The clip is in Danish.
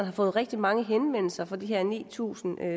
har fået rigtig mange henvendelser fra de her ni tusind